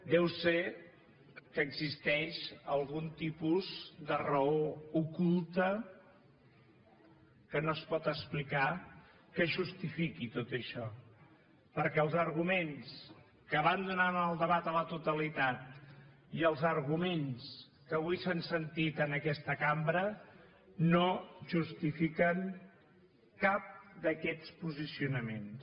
deu ser que existeix algun tipus de raó oculta que no es pot explicar que justifiqui tot això perquè els arguments que van donar en el debat a la totalitat i els arguments que avui s’han sentit en aquesta cambra no justifiquen cap d’aquests posicionaments